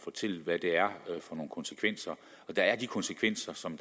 fortælle hvad det er for nogle konsekvenser og der er de konsekvenser som